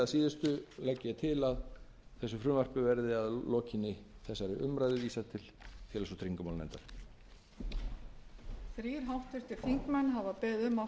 síðustu legg ég til að þessu frumvarpi verði að lokinni þessari umræðu vísað til félags og tryggingamálanefndar